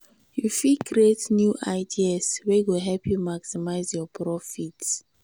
you fit create new ideas wey go help you maximize your your profit.